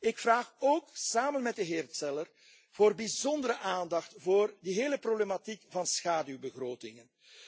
Ik vraag ook samen met de heer Zeller voor bijzondere aandacht voor de hele problematiek van schaduwbegrotingen.